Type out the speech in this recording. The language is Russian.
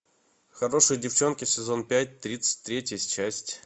хорошие девчонки сезон пять тридцать третья часть